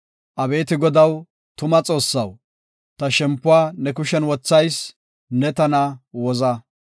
Abeeti Godaw, tuma Xoossaw, ta shempuwa ne kushen wothayis; ne tana woza.